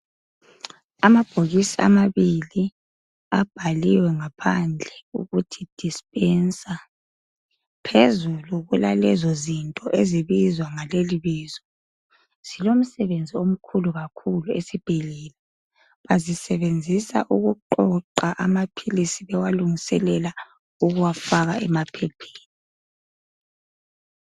Amabhokisi amabili abhaliwe ngaphandle ukuthi dispenser. Phezulu kulalezo zinto ezibizwa ngalelibizo, zilomsebenzi omkhulu kakhulu esibhedlela. Bazisebenzisa ukuqoqa amaphilisi bewalungiselela ukuwafaka emaphepheni.